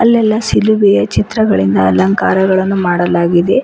ಅಲ್ಲಲ್ಲಿ ಶಿಲುಬೆಯ ಚಿತ್ರಗಳಿಂದ ಅಲಂಕಾರಗಳನ್ನು ಮಾಡಲಾಗಿದೆ.